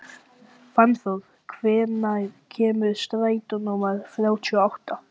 Fannþór, hvenær kemur strætó númer þrjátíu og átta?